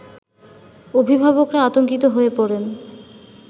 অভিভাবকরা আতংকিত হয়ে পড়েন